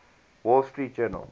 wall street journal